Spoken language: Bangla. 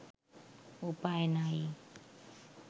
উপায় নাই